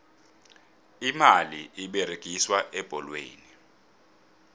imali eberegiswa ebholweni